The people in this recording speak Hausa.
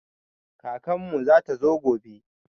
Kakan mu zata zo gobe